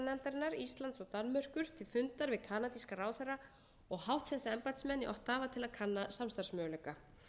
ráðherranefndarinnar íslands og danmerkur til fundar við kanadíska ráðherra og háttsetta embættismenn í ottawa til að kanna samstarfsmöguleika